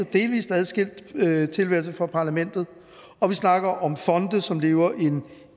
delvis adskilt tilværelse fra parlamentet og vi snakker om fonde som lever en